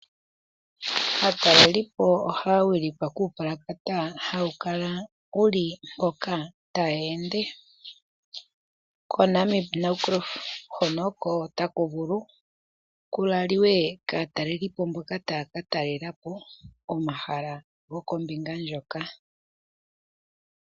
Aatalelipo ohaya wilikwa kuu palakata hawu kala wuli hoka ta ya ende. Ko Namib Naukluft hono oko taku vulu ku laliwe kaatalelipo mboka ta yaka talelapo komahala gokombinga ndjoka.